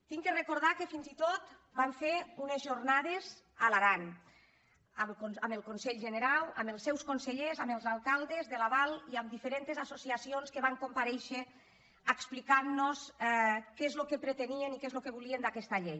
he de recordar que fins i tot vam fer unes jornades a l’aran amb el conselh generau amb els seus conse·llers amb els alcaldes de la val i amb diferents associ·acions que van comparèixer per explicar què és el que pretenien i què és el que volien d’aquesta llei